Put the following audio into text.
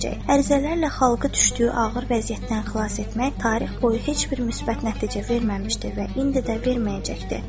Ərizələrlə xalqı düşdüyü ağır vəziyyətdən xilas etmək tarix boyu heç bir müsbət nəticə verməmişdi və indi də verməyəcəkdir.